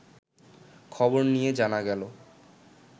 খবর নিয়ে জানা গেল